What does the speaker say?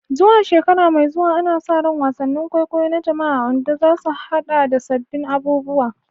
Zuwa shekara mai zuwa, ana sa ran wasannin kwaikwayo na jama'a a Ondo za su haɗa da sabbin abubuwa